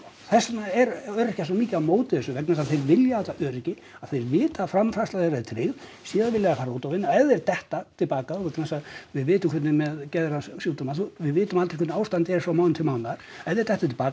þess vegna eru öryrkjar svo mikið á móti þessu vegna þess að þeir vilja þetta öryggi að vita að framfærsla þeirra er tryggð síðan vilja þeir fara út og vinna ef þeir detta til baka vegna þess að við vitum hvernig er með geðsjúkdóma við vitum aldrei hvernig ástandið er frá mánuði til mánaðar ef þeir detta til baka